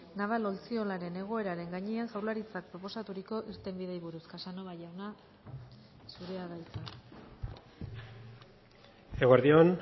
naval ontziolaren egoeraren gainean jaurlaritzak proposaturiko irtenbideei buruz casanova jauna zurea da hitza eguerdi on